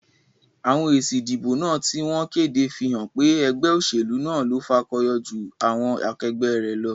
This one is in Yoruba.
Àwon èsì ìdìbò náà tí wón kéde fí hán pé egbé òsèlú náà lo fakoyo jú àwon akegbé rè lo